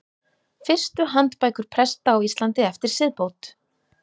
Fyrstu handbækur presta á Íslandi eftir siðbót.